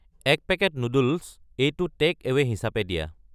এক packet noodles, এইটো takeaway হিচাপে দিয়া